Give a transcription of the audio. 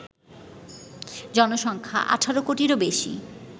জনসংখ্যা: ১৮ কোটিরও বেশি